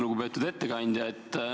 Lugupeetud ettekandja!